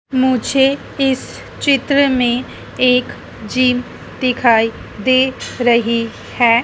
मुझे इस चित्र में एक जीन दिखाई दे रही है।